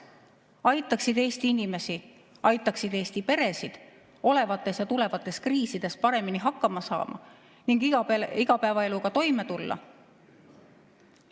Aitaksid Eesti inimesi, aitaksid Eesti peredel olevates ja tulevates kriisides paremini hakkama saada ning igapäevaeluga toime tulla.